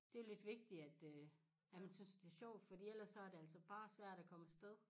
Det jo lidt vigtigt at øh at man synes det sjovt fordi ellers så det altså bare svært at komme afsted